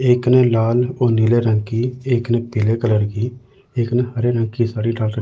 एक ने लाल और नीले रंग की एक ने पीले कलर की एक ने हरे रंग की साड़ी डाल र--